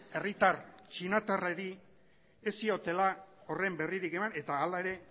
herritar txinatarrari ez ziotela horren berririk eman eta hala ere